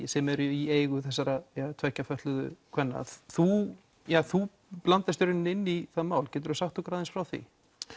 sem eru í eigu þessara tveggja fötluðu kvenna þú þú blandast í rauninni inn í það mál getur þú sagt okkur aðeins frá því